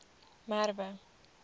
merwe